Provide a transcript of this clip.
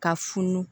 Ka funu